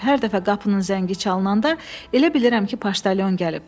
Hər dəfə qapının zəngi çalınanda elə bilirəm ki, paştalyon gəlib.